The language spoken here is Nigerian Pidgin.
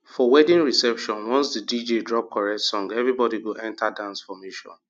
for wedding reception once the dj drop correct song everybody go enter dance formation